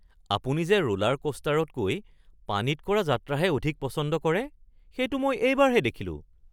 আপুনি যে ৰোলাৰকোষ্টাৰতকৈ পানীত কৰা যাত্ৰাহে অধিক পছন্দ কৰে সেইটো মই এইবাৰহে দেখিলো